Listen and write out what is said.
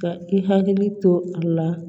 Ka i hakili to a la